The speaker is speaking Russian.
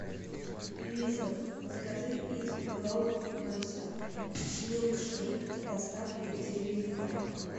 алиса закажи из макдональдса милкшейк доставкой деливери клаб